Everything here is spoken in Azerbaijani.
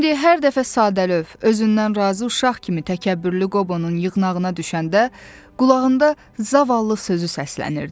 İndi hər dəfə sadəlöv, özündən razı uşaq kimi təkəbbürlü Qobonun yığnağına düşəndə qulağında zavallı sözü səslənirdi.